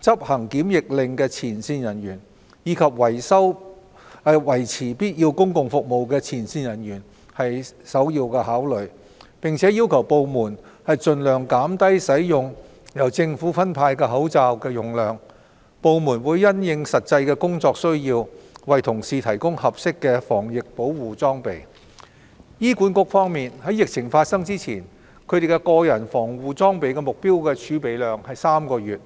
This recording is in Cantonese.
執行檢疫令的前線人員，以及維持必要公共服務的前線人員為首要考慮，並要求部門盡量減低使用由政府分派的口罩的用量。部門會因應實際工作需要，為同事提供合適的防疫保護裝備。醫管局方面，在疫情發生前，其個人防護裝備的目標儲備量為3個月。